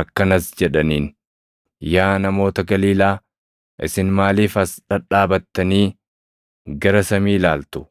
Akkanas jedhaniin; “Yaa namoota Galiilaa, isin maaliif as dhadhaabattanii gara Samii ilaaltu?